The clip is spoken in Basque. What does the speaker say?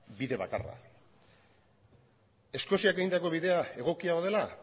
bide bakarra eskoziak egindako bidea egokia dela